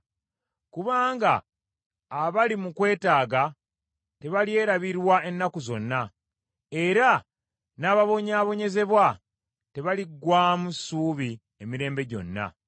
Kubanga abali mu kwetaaga tebalyerabirwa ennaku zonna, era n’ababonyaabonyezebwa tebaliggwaamu ssuubi emirembe gyonna.